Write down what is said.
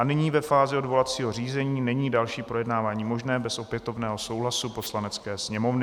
A nyní ve fázi odvolacího řízení není další projednávání možné bez opětovného souhlasu Poslanecké sněmovny.